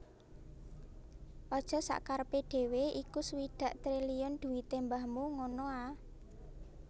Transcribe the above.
Ojok sakkarepe dhewe iku swidak triliun dhuwite mbahmu ngono a